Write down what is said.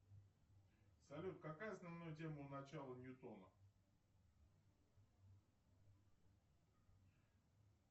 салют какая основная тема у начала ньютона